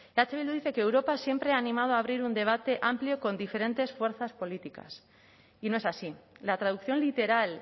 eh bildu dice que europa siempre ha animado a abrir un debate amplio y con diferentes fuerzas políticas y no es así la traducción literal